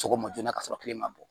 Sɔgɔma joona ka sɔrɔ kile ma bɔ